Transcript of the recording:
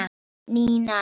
Nína